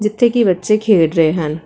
ਜਿੱਥੇ ਕਿ ਬੱਚੇ ਖੇਡ ਰਹੇ ਹਨ।